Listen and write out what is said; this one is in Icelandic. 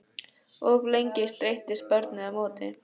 Of lengi streittist barnið á móti